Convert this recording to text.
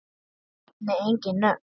Ég nefni engin nöfn.